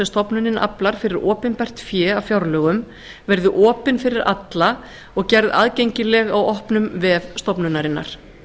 stofnunin aflar fyrir opinbert fé af fjárlögum verði opin fyrir alla og gerð aðgengileg á opnum vef stofnunarinnar